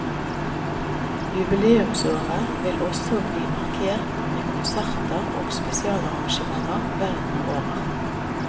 Jubileumsåret vil også bli markert med konserter og spesialarrangementer verden over.